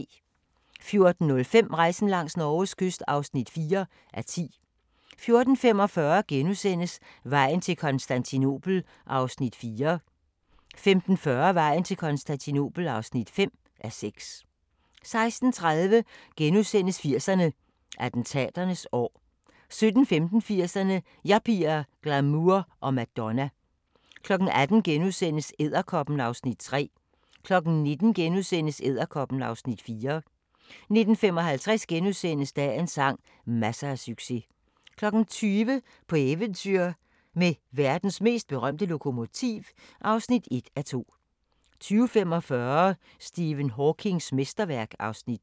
14:05: Rejsen langs Norges kyst (4:10) 14:45: Vejen til Konstantinopel (4:6)* 15:40: Vejen til Konstantinopel (5:6) 16:30: 80'erne: Attentaternes år * 17:15: 80'erne: Yuppier, glamour og Madonna 18:00: Edderkoppen (Afs. 3)* 19:00: Edderkoppen (Afs. 4)* 19:55: Dagens sang: Masser af succes * 20:00: På eventyr med verdens mest berømte lokomotiv (1:2) 20:45: Stephen Hawkings mesterværk (Afs. 2)